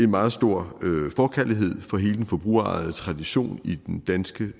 meget stor forkærlighed for hele den forbrugerejede tradition i den danske